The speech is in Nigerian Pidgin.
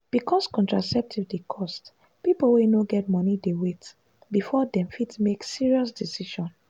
because contraceptive dey cost people wey no get money dey wait before dem fit make serious decision.